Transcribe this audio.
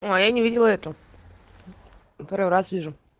я не видела эту первый раз вижу